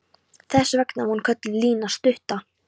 Þess vegna var hún kölluð Lína stutta.